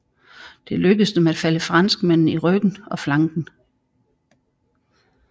Det lykkedes dem at falde franskmændene i ryggen og flanken